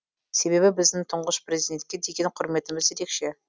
себебі біздің тұңғыш президентке деген құрметіміз ерекше